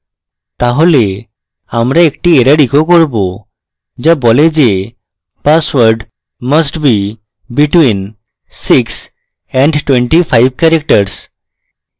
তাহলে আমরা একটি error echo করব যা বলে যে password must be between 6 and 25 characters